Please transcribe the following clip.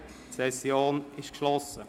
Die Sessionssitzung ist geschlossen.